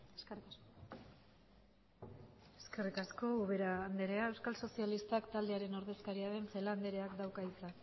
eskerrik asko eskerrik asko ubera andrea euskal sozialistak taldearen ordezkaria den celaá andreak dauka hitza